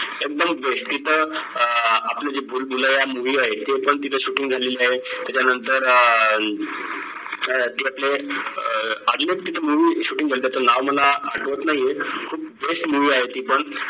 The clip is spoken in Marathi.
एकदम best तिथं अं आपलं जे भूल भुलैया movie आहे ते पण तिथं shooting झालेली आहे त्याच्या नंतर अं ते आपले अं अजून एक तिथं movie shooting झालत त्यांच नाव मला आठवत नाहीये खूप best movie आहे ती पण